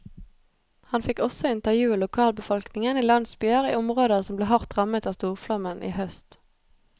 Han fikk også intervjue lokalbefolkningen i landsbyer i områder som ble hardt rammet av storflommen i høst.